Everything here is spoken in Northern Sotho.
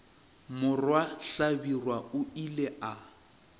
morwa hlabirwa o ile a